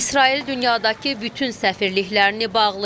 İsrail dünyadakı bütün səfirliklərini bağlayır.